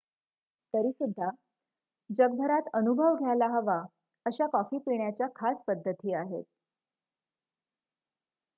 तरीसुद्धा जगभरात अनुभव घ्यायला हवा अशा कॉफी पिण्याच्या खास पद्धती आहेत